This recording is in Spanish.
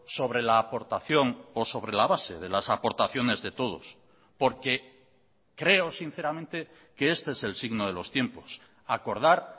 sobre la aportación o sobre la base de las aportaciones de todos porque creo sinceramente que este es el signo de los tiempos acordar